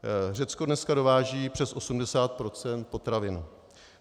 Řecko dneska dováží přes 80 % potravin.